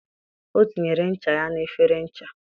O tinyere ncha ya na efere ncha